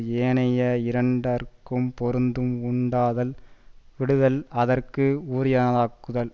ஏனைய இரண்டற்கும் பொருத்தம் உண்டாதல் விடுதல் அதற்கு உரியனாதக்குதல்